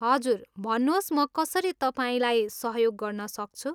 हजुर, भन्नुहोस् म कसरी तपाईँलाई सहयोग गर्न सक्छु।